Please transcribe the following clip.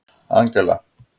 Angela